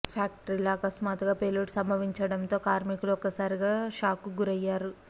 ఫ్యాక్టరీలో అకస్మాత్తుగా పేలుడు సంభవించించడంతో కార్మికులు ఒక్కసారిగా షాక్కు గురయ్యారు